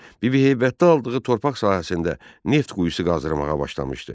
Bibiheybətdə aldığı torpaq sahəsində neft quyusu qazırmağa başlamışdı.